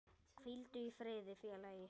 Hvíldu í friði félagi.